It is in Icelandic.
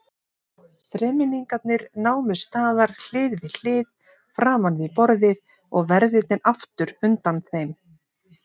Þremenningarnir námu staðar hlið við hlið framan við borðið og verðirnir aftur undan þeim.